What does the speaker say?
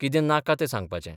कितें नाका तें सांगपाचें.